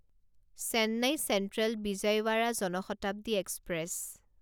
Chennai Central Vijayawada Jan Shatabdi express